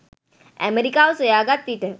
ඇමරිකාව සොයාගත් විට